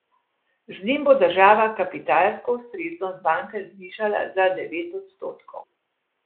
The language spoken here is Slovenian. Z njim bo država kapitalsko ustreznost banke zvišala na devet odstotkov.